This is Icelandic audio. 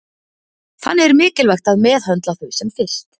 Þannig er mikilvægt að meðhöndla þau sem fyrst.